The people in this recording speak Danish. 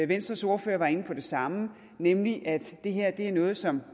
venstres ordfører var inde på det samme nemlig at det her er noget som